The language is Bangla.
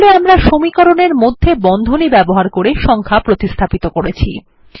তাহলে আমরা সমীকরণের মধ্যে বন্ধনী ব্যবহার করে সংখ্যা প্রতিস্থাপিত করেছি